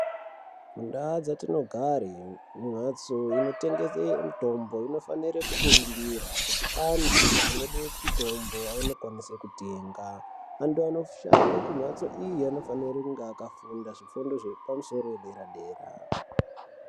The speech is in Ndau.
Mundau dzatinogare mhatso inotengese mutombo inofanire kukurumbura kuti antu anode mutombo awone kwanise kutenga antu anoshande kumhatso iyi anofanire kunge akafundi zvifundo zvepamusoro dera dera.